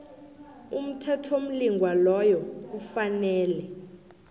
umthethomlingwa loyo kufanele